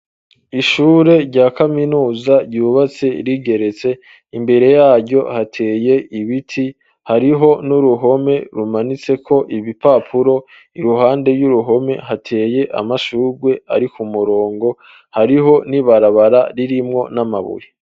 Ishure rya kaminuza ryubatse rigeretse imbere yaryo hateye ibiti hariho n'uruhome rumanitseko ibipapuro iruhande ry'uruhome hateye amashurwe ariko murongo hariho n'ibarabara ririmwo n'amabuye.